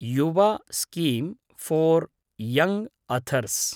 Yuva scheme for young authors